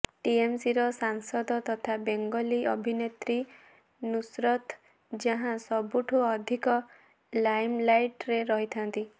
ଟିଏମସିର ସାଂସଦ ତଥା ବେଙ୍ଗଲୀ ଅଭିନେତ୍ରୀ ନୁସରତ ଜାହାଁ ସବୁଠୁ ଅଧିକ ଲାଇମଲାଇଟ୍ରେ ରହିଥାନ୍ତି